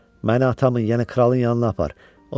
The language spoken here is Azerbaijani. Məni atamın, yəni kralın yanına apar.